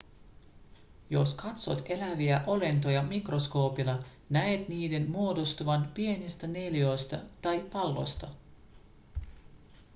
jos katsot eläviä olentoja mikroskoopilla näet niiden muodostuvan pienistä neliöistä tai palloista